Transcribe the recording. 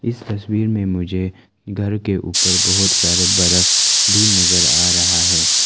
इस तस्वीर में मुझे घर के ऊपर बहोत सारे बर्फ भी नजर आ रहा है।